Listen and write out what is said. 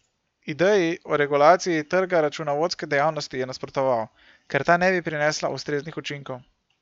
Ideji o regulaciji trga računovodske dejavnosti je nasprotoval, ker ta ne bi prinesla ustreznih učinkov.